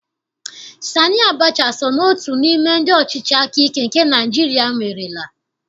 Sani Abacha so n'otu n'ime ndị ọchịchị akaike nke Naịjirịa nwerela